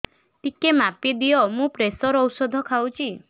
ଟିକେ ମାପିଦିଅ ମୁଁ ପ୍ରେସର ଔଷଧ ଖାଉଚି